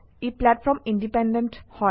E platform independent